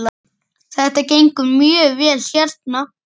Þetta gengur mjög vel hérna.